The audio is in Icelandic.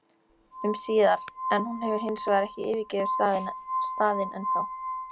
um síðar, en hún hefur hinsvegar ekki yfirgefið staðinn ennþá.